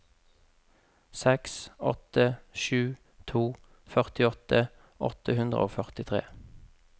seks åtte sju to førtiåtte åtte hundre og førtitre